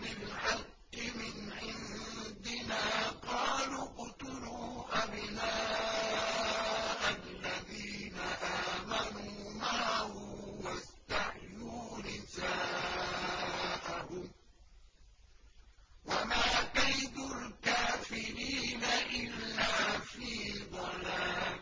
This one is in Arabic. بِالْحَقِّ مِنْ عِندِنَا قَالُوا اقْتُلُوا أَبْنَاءَ الَّذِينَ آمَنُوا مَعَهُ وَاسْتَحْيُوا نِسَاءَهُمْ ۚ وَمَا كَيْدُ الْكَافِرِينَ إِلَّا فِي ضَلَالٍ